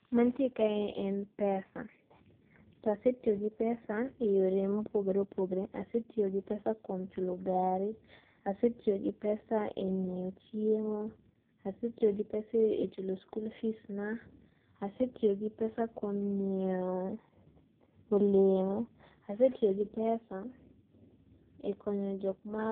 Gik mantie kae en pesa, to asetiyo gi pesa e yore mopogore opogore, asetiyo gi pesa kuom chulo gari, asetiyo gi pesa kuom nyiew chiemo, asetiyo gi pesa chulo skul fees na, asetiyo gi pesa kuom nyiew olemo, asetiyo gi pesa ekonyo jokma